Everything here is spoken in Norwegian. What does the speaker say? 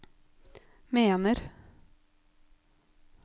mener